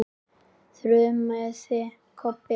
þrumaði Kobbi.